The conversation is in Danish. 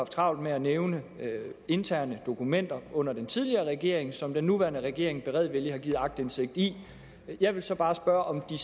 travlt med at nævne interne dokumenter under den tidligere regering som den nuværende regering beredvilligt har givet aktindsigt i jeg vil så bare spørge om den